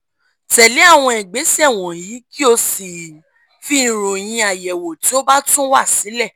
tẹ̀lé àwọn ìgbésẹ̀ wọ̀nyí kí o sì fi ìròyìn àyẹ̀wò tó bá tún wá sílẹ̀